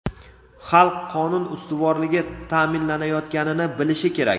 xalq qonun ustuvorligi ta’minlanayotganini bilishi kerak.